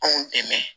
Anw dɛmɛ